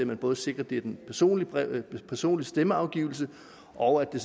man både sikrer at det er en personlig personlig stemmeafgivelse og at det